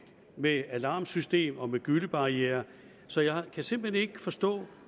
med alarmsystem og gyllebarriere så jeg kan simpelt hen ikke forstå